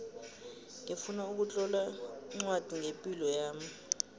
ngifuna ukutlola ncwadi ngepilo yami